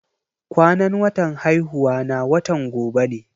Kwanan watan haihuwana watan gobe ne.